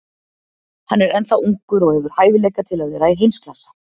Hann er ennþá ungur og hefur hæfileika til að vera í heimsklassa.